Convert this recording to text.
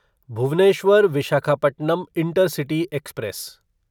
Bhubaneswar Visakhapatnam intercity express